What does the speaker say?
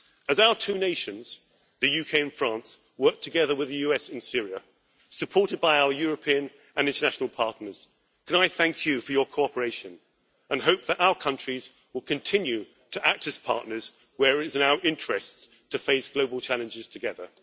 As our two nations, the UK and France, work together with the US in Syria, supported by our European and international partners, can I thank you for your cooperation and hope that our countries will continue to act as partners where it is in our interests to face global challenges together.